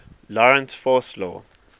lorentz force law